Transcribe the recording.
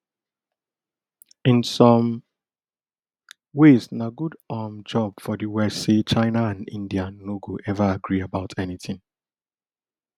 in some ways na good um job for di west say china and india no go ever agree about anytin